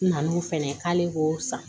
N nan'o fɛnɛ k'ale k'o san